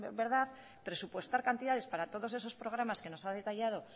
verdad presupuestar cantidades para todos esos programas que nos ha detallado